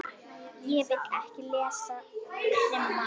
Ég vil ekki lesa krimma.